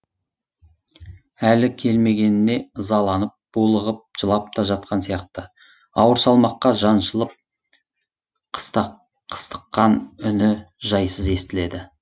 әлі келмегеніне ызаланып булығып жылап та жатқан сияқты ауыр салмаққа жаншылып қыстыққан үні жайсыз естіледі